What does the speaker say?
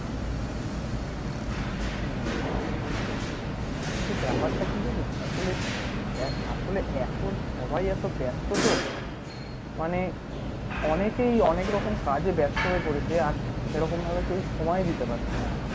হম বুঝতে পেরেছি কিন্তু ব্যাপারটা কি জানিস আসলে আসলে এখন সবাই এত ব্যাস্ত তো মানে অনেকেই অনেক রকম কাজে ব্যাস্ত হয় পড়েছে আর সেরকম ভাবে কেউই সময় দিতে পারছে না